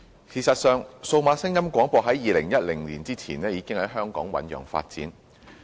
事實上，數碼廣播在2010年前已在香港醞釀發展。